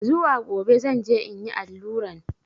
Zuwa gobe zan je in yi alluran.